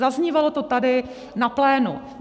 Zaznívalo to tady na plénu.